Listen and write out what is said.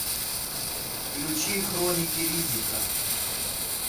включи хроники риддика